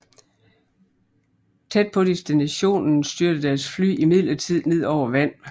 Tæt på destinationen styrter deres fly imidlertid ned over vand